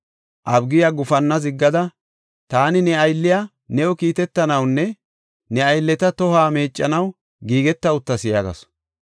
Abigiya gufanna ziggada, “Taani ne aylliya new kiitetanawunne ne aylleta tohuwa meeccanaw giigeta uttas” yaagasu.